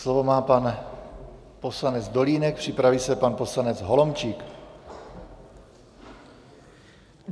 Slovo má pan poslanec Dolínek, připraví se pan poslanec Holomčík.